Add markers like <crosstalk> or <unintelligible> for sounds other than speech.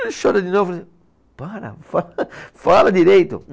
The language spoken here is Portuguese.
Aí chora de novo <unintelligible> para, fala, <laughs> fala direito.